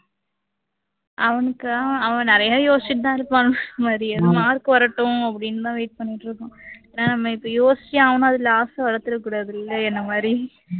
அவனுக்கா அவன் நிறைய யோசிச்சுட்டு தான் இருப்பான் mark வரட்டும் அப்படின்னு தான் wait பண்ணிட்டு இருக்கோம் ஏன்னா நம்ம இப்போ யோசிச்சு அவனும் அதுல ஆசை வளத்துட கூடாதுல்ல என்னை மாதிரி